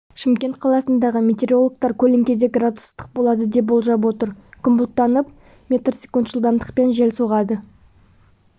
шымкент қаласында метеорологтар көлеңкеде градус ыстық болады деп болжап отыр күн бұлттанып мс жылдамдықпен жел соғады